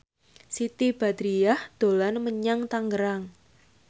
Siti Badriah dolan menyang Tangerang